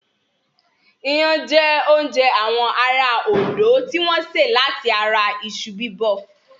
Iyán jẹ́ oúnjẹ àwọn ará Òndó tí wọ́n sè láti ara iṣu Bíbọ̀